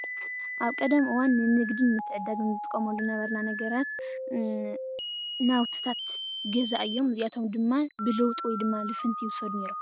ኣብ ቀደም እዋን ንንግዲ ምትዕድዳግን ንጥቀመሉ ዝነበርና ነገራት ናውትታት ገዛ እዮም፡፡ እዚኣቶም ድማ ብለውጢ ወይ ድማ ልፍንቲ ይውሰዱ ነይሮም፡፡